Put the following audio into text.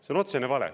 See on otsene vale.